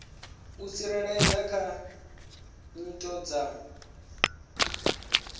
u tsireledza kha khiyi dza